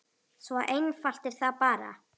Svo einfalt er það bara.